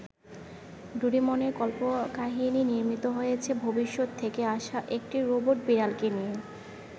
ডোরিমনের কল্পকাহিনী নির্মিত হয়েছে ভবিষ্যত থেকে আসা একটি রোবট বিড়ালকে নিয়ে।